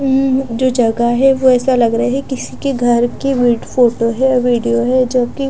हम्म जो जगह है वो ऐसा लग रहा है कि किसी की घर की विड फ़ोटो है वीडियो हैं जो कि --